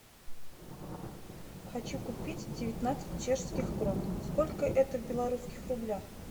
хочу купить девятнадцать чешских крон сколько это в белорусских рублях